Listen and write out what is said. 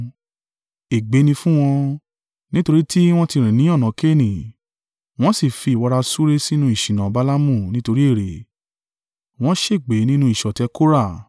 Ègbé ni fún wọn! Nítorí tí wọ́n ti rìn ní ọ̀nà Kaini, wọ́n sì fi ìwọra súré sínú ìṣìnà Balaamu nítorí ère, wọn ṣègbé nínú ìṣọ̀tẹ̀ Kora.